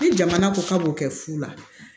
Ni jamana ko k'a b'o kɛ fu la